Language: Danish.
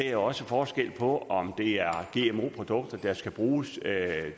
er også forskel på om det er gmo produkter der skal bruges